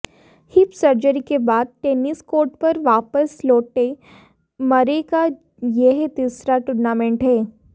hip surgery के बाद tennis court पर वापस लौटे मरे का यह तीसरा टूर्नामेंट है